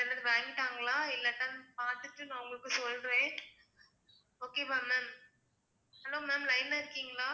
வாங்கிட்டாங்களா இல்லட்டா பார்த்துட்டு நான் உங்களுக்கு சொல்றேன் okay வா ma'am hello ma'am line ல இருக்கீங்களா?